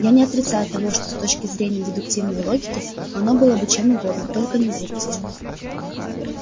я не отрицаю того что с точки зрения дедуктивной логики оно было чем угодно только не глупостью